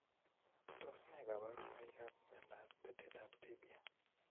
Tos ne kaborunoikab miondop betetab tibia?